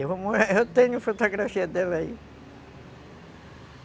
Eu tenho fotografia dela aí.